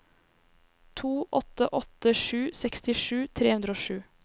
to åtte åtte sju sekstisju tre hundre og sju